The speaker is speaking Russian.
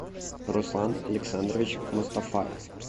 руслан александрович мустафаев